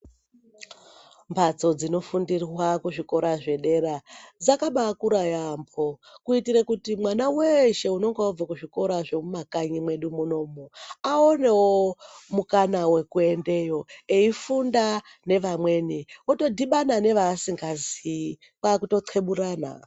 Mbatso dzinofundirwa kuzvikora zvedera dzakabaakura yaamhpo kuitire kuti mwana weeshe unenge abve kuzvikora zvemuma kanyi mwedu munomu awanewo mukana wekuendeyo, eifunda nevamweni, otodhumana nevaasingazii kwakuto xeburana.